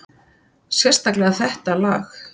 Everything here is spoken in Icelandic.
Sérstaklega þetta lag.